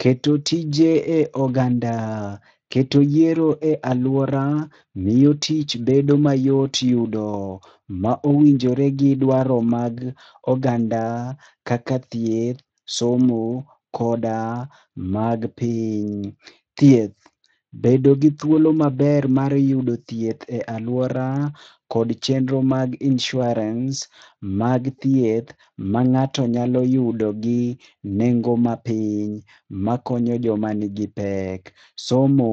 Keto tije e oganda, keto yiero e aluora miyo tich bedo mayot yudo, ma owinjore gi dwaro mag oganda kaka thieth ,somo koda mag piny. Thieth, bedo gi thuolo maber mar yudo thieth e aluora koda chenro mag insurance mag thieth manganto nyalo yudo gi nengo mapiny makonyo joma nigi pek. Somo,